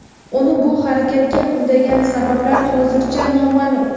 Uni bu harakatga undagan sabablar hozircha noma’lum.